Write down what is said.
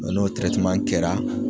n'o kɛra